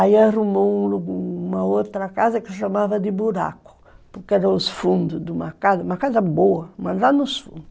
Aí arrumou uma uma outra casa que chamava de buraco, porque era os fundos de uma casa, uma casa boa, mas lá nos fundos.